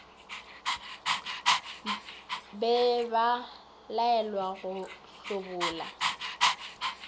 be ba laelwa go hlobola